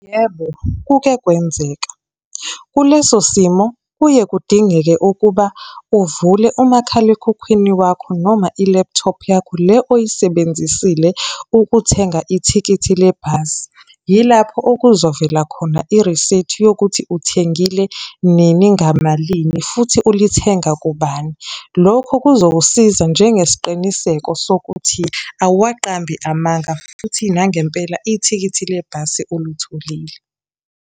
Yebo, kuke kwenzeka. Kuleso simo kuye kudingeke ukuba uvule umakhalekhukhwini wakho, noma ilephuthophu yakho. le oyisebenzisile ukuthenga ithikithi lebhasi. Yilapho okuzovela khona irisithi yokuthi uthengile nini, ngamalini, futhi ulithenga kubani. Lokho kuzosiza njengesiqiniseko sokuthi awuwaqambi amanga, futhi nangempela ithikithi le bhasi ulitholile.